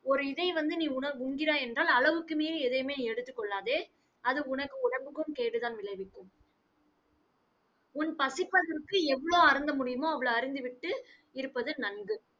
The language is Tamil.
ஒரு இதை வந்து, நீ உண~ உண்கிறாய் என்றால், அளவுக்கு மீறி எதையுமே எடுத்துக்கொள்ளாதே அது உனக்கு உடம்புக்கும் கேடுதான் விளைவிக்கும். உன் பசிப்பதற்கு எவ்வளவு அருந்த முடியுமோ, அவ்வளவு அருந்திவிட்டு இருப்பது நன்கு.